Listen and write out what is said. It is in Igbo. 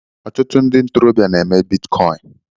Ọtụtụ ndị ntorobịa na-eme bitcoin.